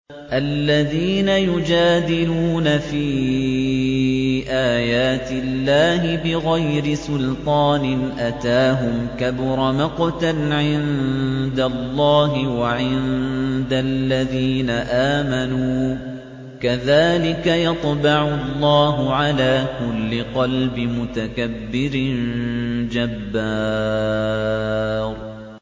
الَّذِينَ يُجَادِلُونَ فِي آيَاتِ اللَّهِ بِغَيْرِ سُلْطَانٍ أَتَاهُمْ ۖ كَبُرَ مَقْتًا عِندَ اللَّهِ وَعِندَ الَّذِينَ آمَنُوا ۚ كَذَٰلِكَ يَطْبَعُ اللَّهُ عَلَىٰ كُلِّ قَلْبِ مُتَكَبِّرٍ جَبَّارٍ